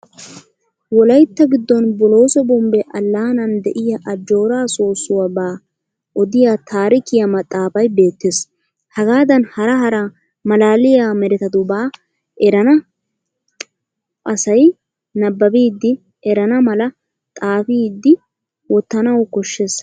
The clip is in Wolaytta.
Wolaytta giddon bolooso bombbe allaanan de'iyaa ajjoora soossuwabaa odiya taarikiya maxxaafay beettes. Hagaada hara hara malaaliya meretatubaa erenna asay nabbabbidi erana mala xaafidi wottanawu koshshes.